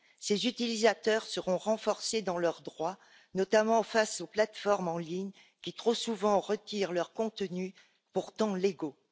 Ces utilisateurs seront renforcés dans leurs droits, notamment face aux plateformes en ligne qui, trop souvent, retirent leurs contenus pourtant légaux.